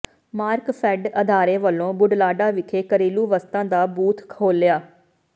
ਮਾਰਕਫੈੱਡ ਅਦਾਰੇ ਵਲੋਂ ਬੁਢਲਾਡਾ ਵਿਖੇ ਘਰੇਲੂ ਵਸਤਾਂ ਦਾ ਬੂਥ ਖੋਲਿ੍ਹਆ